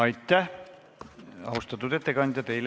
Aitäh, austatud ettekandja!